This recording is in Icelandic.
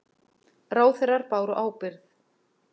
Ráðherrar báru ábyrgð